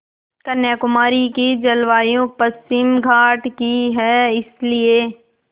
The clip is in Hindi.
कन्याकुमारी की जलवायु पश्चिमी घाट की है इसलिए